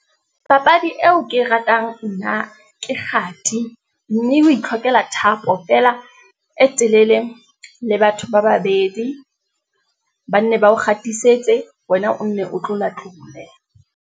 Papadi eo ke e ratang nna ke kgati, mme o itlhokela thapo feela e telele le batho ba babedi, ba nne ba o kgatisitse, wena o nne o tlolatlole.